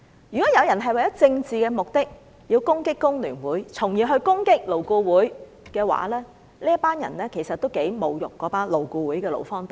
如果有人為了政治目的而攻擊工聯會，再從而攻擊勞顧會的話，這些人其實是侮辱了勞顧會的勞方代表。